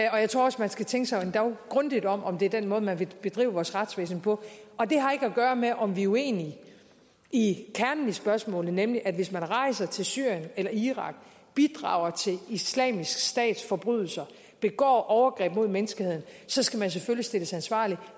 og jeg tror også man skal tænke sig endog grundigt om om det er den måde man vil bedrive vores retsvæsen på og det har ikke at gøre med om vi er uenige i kernen i spørgsmålet nemlig at hvis man rejser til syrien eller irak bidrager til islamisk stats forbrydelser begår overgreb mod menneskeheden så skal man selvfølgelig stilles ansvarlig